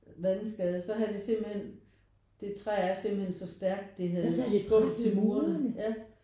Vandskade så havde det simpelthen det træ er simpelthen så stærk det havde skubbet til murene ja